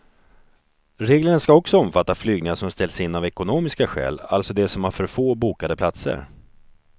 Reglerna ska också omfatta flygningar som ställs in av ekonomiska skäl, alltså de som har för få bokade platser.